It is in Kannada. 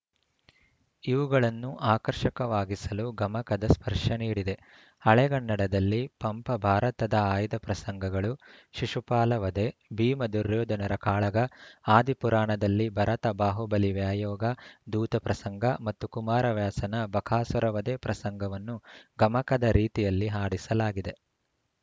ಇವುಗಳನ್ನು ಆಕರ್ಷಕವಾಗಿಸಲು ಗಮಕದ ಸ್ಪರ್ಶ ನೀಡಿದೆ ಹಳೆಗನ್ನಡದಲ್ಲಿ ಪಂಪ ಭಾರತದ ಆಯ್ದ ಪ್ರಸಂಗಗಳು ಶಿಶುಪಾಲ ವಧೆ ಭೀಮ ದುರ್ಯೋಧನರ ಕಾಳಗ ಆದಿಪುರಾಣದಲ್ಲಿ ಭರತಬಾಹುಬಲಿ ವ್ಯಾಯೋಗ ದೂತ ಪ್ರಸಂಗ ಮತ್ತು ಕುಮಾರವ್ಯಾಸನ ಬಕಾಸುರ ವಧೆ ಪ್ರಸಂಗವನ್ನು ಗಮಕದ ರೀತಿಯಲ್ಲಿ ಹಾಡಿಸಲಾಗಿದೆ